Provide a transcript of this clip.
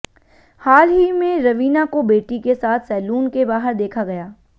हाल ही में रवीना को बेटी के साथ सैलून के बाहर देखा गया